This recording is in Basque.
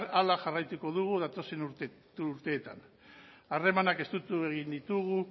horrela jarraituko dugu datozen urteetan harremanak estutu egin ditugu